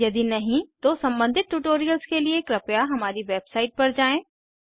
यदि नहीं तो सम्बंधित ट्यूटोरियल्स के लिए कृपया हमारी वेबसाइट पर जाएँ